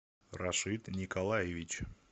рашид николаевич